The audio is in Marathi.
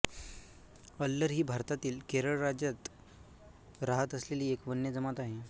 अल्लर ही भारतातील केरळ राज्यात राहत असलेली एक वन्य जमात आहे